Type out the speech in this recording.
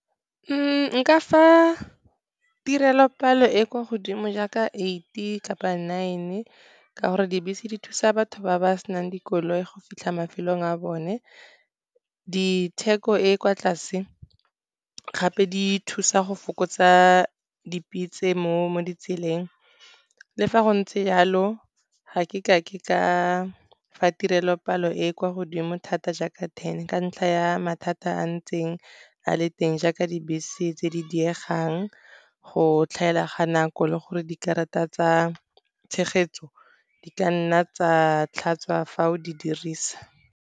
Nka fa tirelo-palo e kwa godimo jaaka eight kapa nine, ka gore dibese di thusa batho ba ba senang dikoloi go fitlha mafelong a bone, ditheko e e kwa tlase, gape di thusa go fokotsa dipitse mo ditseleng. Le fa go ntse jalo, ga ke kake ka fa tirelo-palo e e kwa godimo thata jaaka ten ka ntlha ya mathata a ntseng a le teng, jaaka dibese tse di diegang, go tlhaela ga nako, le gore dikarata tsa tshegetso di ka nna tsa tlhatsa fa o di dirisa.